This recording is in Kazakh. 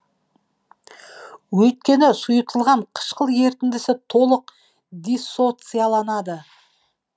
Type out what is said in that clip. өйткені сұйытылған қышқыл ерітіндісі толық диссоциаланады